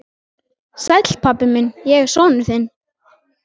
Sæll, pabbi minn, ég er sonur þinn.